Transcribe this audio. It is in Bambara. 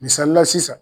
Misalila sisan